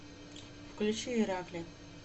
включи иракли